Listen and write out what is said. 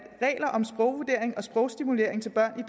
regler om sprogvurdering og sprogstimulering til børn i